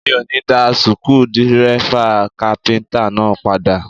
Mi ò ní dá suku dírẹ́fà kápíntà náà padà